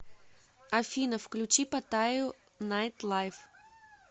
афина включи паттаю найтлайв